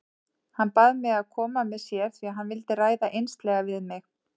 Hann bað mig að koma með sér því hann vildi ræða einslega við mig.